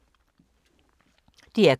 DR K